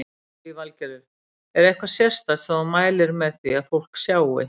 Lillý Valgerður: Er eitthvað sérstakt sem þú mælir með því að fólk sjái?